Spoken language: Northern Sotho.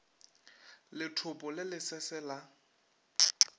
lethopo le le sese la